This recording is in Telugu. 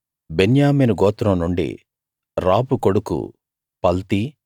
బెన్యామీను గోత్రం నుండి రాఫు కొడుకు పల్తీ